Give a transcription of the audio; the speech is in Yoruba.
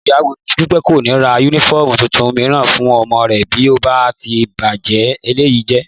Ìyá Dúpẹ́ kò ní ra yúnífọ́ọ̀mù tuntun mìíràn fún ọmọ rẹ̀ bí ó bá ti ba eléyìí jẹ́